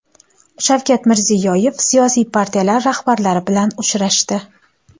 Shavkat Mirziyoyev siyosiy partiyalar rahbarlari bilan uchrashdi.